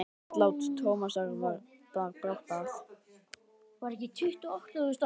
Andlát Tómasar bar brátt að.